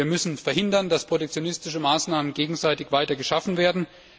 Wir müssen verhindern, dass protektionistische Maßnahmen auf beiden Seiten weiter geschaffen werden.